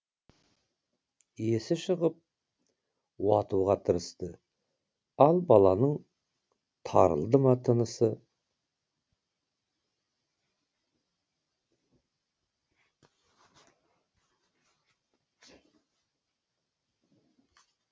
есі шығып уатуға тырысты ал баланың тарылды ма тынысы